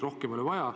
Rohkem ei ole vaja.